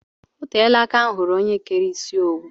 Oteela aka m hụrụ ónyé kéré isi owu